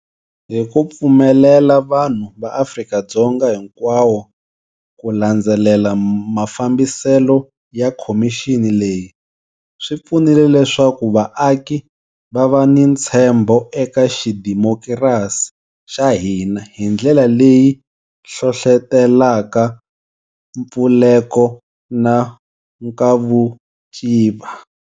Hi ku pfumelela vanhu va Afrika-Dzonga hinkwawo ku landzelela mafambiselo ya khomixini leyi, swi pfunile leswaku vaaki va va ni ntshembo eka xidemokirasi xa hina hi ndlela leyi hlohlotelaka mpfuleko na nkavuciva.